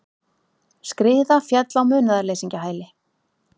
Skriða féll á munaðarleysingjahæli